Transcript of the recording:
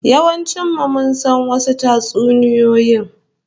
Yawancin mu mun san wasu tatsuniyoyi